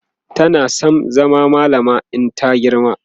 tana San zama mallama in ta girma